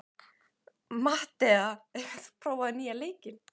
Mattea, hefur þú prófað nýja leikinn?